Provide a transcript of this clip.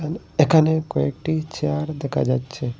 এখানে কয়েকটি চেয়ার দেখা যাচ্ছে।